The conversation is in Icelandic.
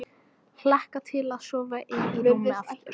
Hlakka til að sofa ein í rúmi aftur.